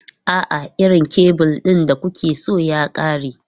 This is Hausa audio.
A'a, irin kebul ɗin da kuke so ya ƙare.